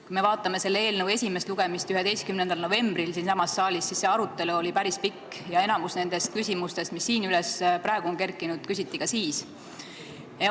Kui me vaatame selle eelnõu esimest lugemist, mis toimus 11. novembril siinsamas saalis, siis on näha, et arutelu oli päris pikk ja enamikku nendest küsimustest, mis praegu on üles kerkinud, küsiti ka siis.